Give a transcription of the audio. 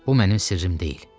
Bu mənim sirrim deyil.